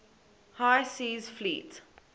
high seas fleet